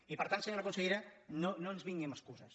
i per tant senyora consellera no ens vingui amb excuses